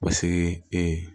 Ka se ee